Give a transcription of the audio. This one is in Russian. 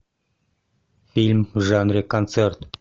фильм в жанре концерт